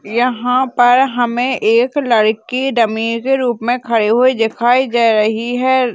यहाँ पर हमें एक लड़की डम्मी के रूप में खड़ी हुए दिखाई दे रही है।